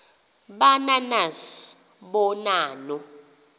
ba nanas bonanno